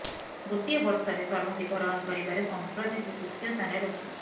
ଗୋଟିଏ ବର୍ଷରେ ସର୍ବାଧିକ ରନ୍ କରିବାରେ ସଂପ୍ରତି ସେ ତୃତୀୟ ସ୍ଥାନରେ ରହିଛନ୍ତି